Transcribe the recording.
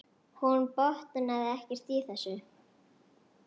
Hún botnaði ekkert í þessu.